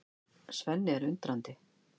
Svenni er undrandi.